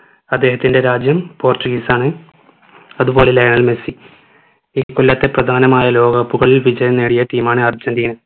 അദ്ദേഹത്തിൻ്റെ രാജ്യം portuguese ആണ് അതു പോലെ ലയണൽ മെസ്സി ഈ കൊല്ലത്തെ പ്രധാനമായ ലോക cup കളിൽ വിജയം നേടിയ team ആണ് അർജന്റീന